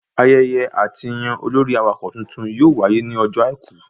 Ayẹyẹ àtiyàn olórí awakọ̀ titun yóò wáyé ní ọjọ́ àìkú